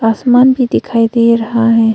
आसमान भी दिखाई दे रहा है।